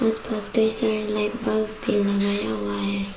Light bulb भी लगाया हुआ है।